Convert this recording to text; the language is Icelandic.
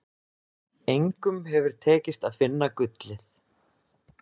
Engum hefur tekist að finna gullið.